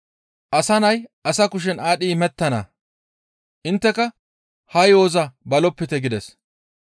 «Asa nay asa kushen aadhdhi imettana; intteka ha yo7oza balopite» gides.